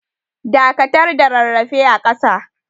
Dakatar da rarrafe a kasa.